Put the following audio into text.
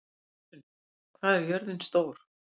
Gissunn, hvað er jörðin stór?